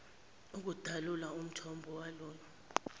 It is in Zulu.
ukudalula umthombo walolu